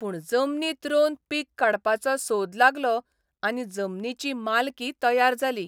पूण जमनींत रोवन पीक काडपाचो सोद लागलो आनी जमनीची मालकी तयार जाली.